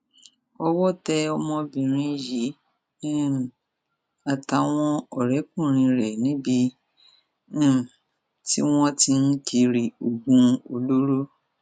ọwọ tẹ ọmọbìnrin yìí um àtàwọn ọrẹkùnrin rẹ níbi um tí wọn ń tì ń kiri oògùn olóró